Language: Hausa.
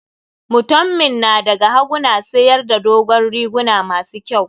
Mutanmin na da ga hagu na siyar da dogon riguna ma su kyau.